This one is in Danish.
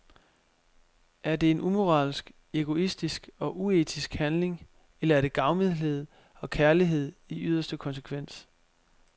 Er det en umoralsk, egoistisk og uetisk handling, eller er det gavmildhed og kærlighed i yderste konsekvens.